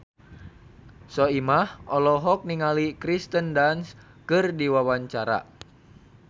Soimah olohok ningali Kirsten Dunst keur diwawancara